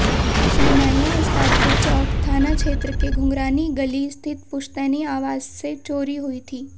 शहनाइयां उस्ताद के चौक थानाक्षेत्र के घुंघरानी गली स्थित पुश्तैनी आवास से चोरी हुई थी